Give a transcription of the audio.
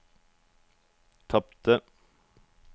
tapte